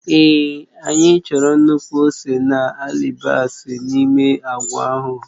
Èé anyị chọrọ nnukwu ose na alibasa n'ime agwa ahụ